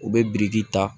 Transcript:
U bɛ biriki ta